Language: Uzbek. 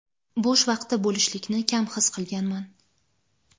bo‘sh vaqti bo‘lishlikni kam his qilganman.